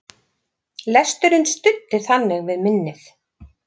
Lesturinn studdi þannig við minnið.